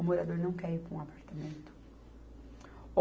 O morador não quer ir para um apartamento.